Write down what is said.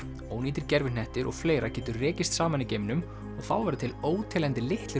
ónýtir gervihnettir og fleira getur rekist saman í geimnum og þá verða til óteljandi litlir